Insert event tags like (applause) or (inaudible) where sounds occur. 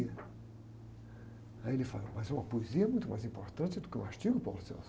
Aí ele falou, mas, eh, uma poesia é muito mais importante do que o artigo. (unintelligible)